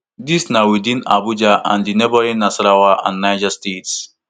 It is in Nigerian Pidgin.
dis na within abuja and di neighbouring nasarawa and niger states